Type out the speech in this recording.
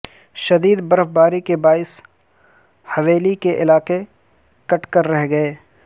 شدید برف باری کے باعث حویلی کے علاقے کٹ کر رہ گئے